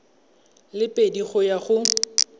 le pedi go ya go